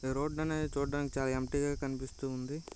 ఈ రోడ్ న ఈ చుడానికి చాలా ఏంప్టీ గా కనిపిస్తుంది